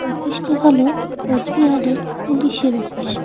অফিসটি হলো কোচবিহারের পুলিশের অফিস ।